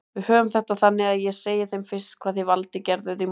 Við höfum þetta þannig að ég segi þeim fyrst hvað þið Valdi gerðuð í morgun.